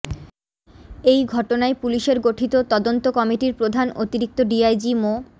এই ঘটনায় পুলিশের গঠিত তদন্ত কমিটির প্রধান অতিরিক্ত ডিআইজি মো